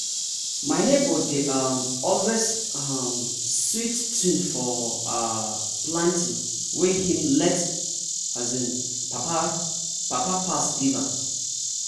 my neighbor dey um always hum sweet tune for um planting wey him late um papa pass give am.